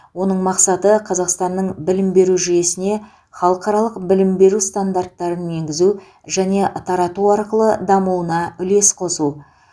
оның мақсаты қазақстанның білім беру жүйесіне халықаралық білім беру стандарттарын енгізу және тарату арқылы дамуына үлес қосу